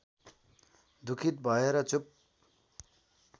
दुखीत भएर चुप